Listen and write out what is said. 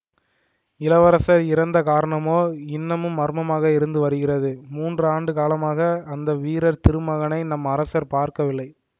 இளவரசர் இறந்த காரணமோ இன்னமும் மர்மமாக இருந்து வருகிறது மூன்று ஆண்டு காலமாக அந்த வீர திருமகனை நம் அரசர் பார்க்கவில்லை